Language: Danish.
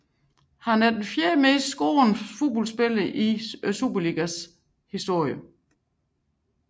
Han er den fjerde mest scorende spiller i Superligaens historie